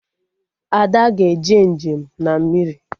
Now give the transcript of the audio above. Ada ga-eje njem na mmiri